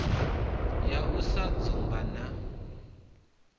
ya u sa dzumba na